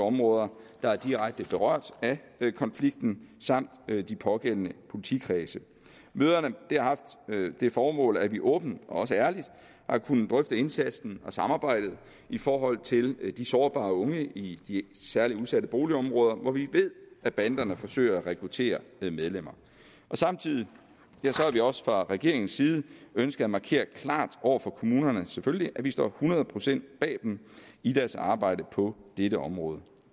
områder der er direkte berørt af konflikten samt de pågældende politikredse møderne har haft det formål at vi åbent og også ærligt har kunnet drøfte indsatsen og samarbejdet i forhold til de sårbare unge i særlig udsatte boligområder hvor vi ved at banderne forsøger at rekruttere medlemmer samtidig har vi også fra regeringens side ønsket at markere klart over for kommunerne at vi selvfølgelig står hundrede procent bag dem i deres arbejde på dette område